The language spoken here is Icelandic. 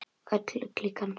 Öll klíkan.